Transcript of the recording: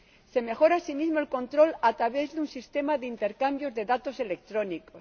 se mejora, asimismo, el control a través de un sistema de intercambio de datos electrónicos